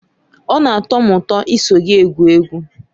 Ọ na-atọ m ụtọ iso gị egwu egwu.